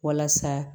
Walasa